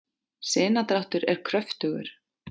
sinadráttur er kröftugur